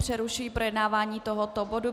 Přerušuji projednávání tohoto bodu.